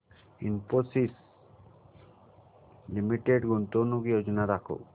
Infosys limited गुंतवणूक योजना दाखव